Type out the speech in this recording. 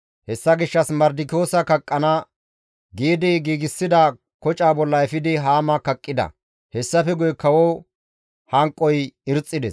Hessa gishshas Mardikiyoosa kaqqana giidi giigsida koca bolla efidi Haama kaqqida; hessafe guye kawoza hanqoy irxxides.